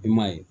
I m'a ye